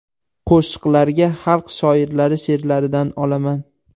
Qo‘shiqlarga xalq shoirlari she’rlaridan olaman.